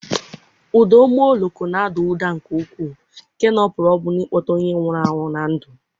Ụda ụgbọ oloko na-ada ụda nke ukwuu nke na ọ pụrụ ọbụna ịkpọte onye nwụrụ anwụ na ndụ.